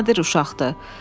Çox nadir uşaqdır.